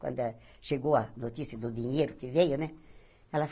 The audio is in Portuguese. Quando chegou a notícia do dinheiro que veio, né?